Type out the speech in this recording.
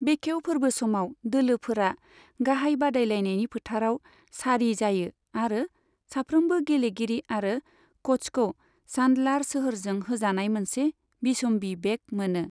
बेखेव फोर्बो समाव, दोलोफोरा गाहाय बादायलायनायनि फोथाराव सारि जायो आरो साफ्रोमबो गेलेगिरि आरो क'चखौ चान्डलार सोहोरजों होजानाय मोनसे बिसम्बि बेग मोनो।